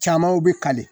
Camanw bɛ kale